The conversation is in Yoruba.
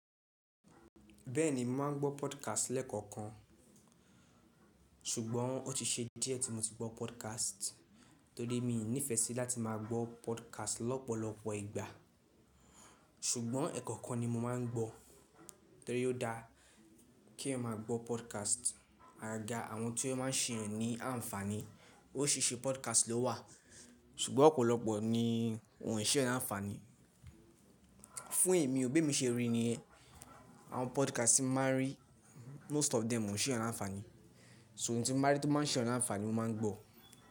Bẹ́ẹ̀ni, màá ń gbọ́ podcast lẹ́ẹ̀kọ̀kan, ṣùgbọ́n ó ti ṣe díẹ̀ tí mo ti gbọ́ podcast, torí mi ò nífẹ́ sí láti máa gbọ́ podcast lọ́pọ̀lọpọ̀ ìgbà. Ṣùgbọ́n ẹ̀ẹ̀kọ̀kan ni mo máa ń gbọ́, torí ó dáa kí ẹeyan máa gbọ́ podcast. Agaga àwọn tí ó má ń se ènìyàn ní ànfàní, órisiriṣi podcast ló wà, ṣùgbọ́n ọ̀pọ̀lọpọ̀ ni wòń e ṣeèyàn lànfàní. Fún èmi ò, bí emi ṣe rí niyen, àwọn podcast tí mo máa rí most of them ò ń ṣe ènìyàn lànfàní. Ṣo eyi tí mo bá rí tó maa ń ṣe ènìyàn lànfàní, mo máa ń gbọ́.